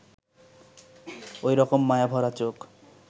ওই রকম মায়াভরা চোখ